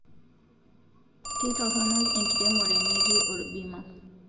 Keitoronok enkiremore meeti orbima